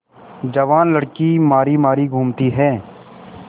जवान लड़की मारी मारी घूमती है